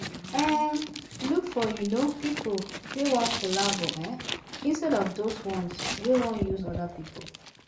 um Look for um pipo wey wan collabo um instead of those ones we wan use oda pipo